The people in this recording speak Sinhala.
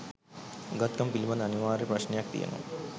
උගත්කම පිලිබඳ අනිවාර්ය ප්‍රශ්නයක් තියෙනවා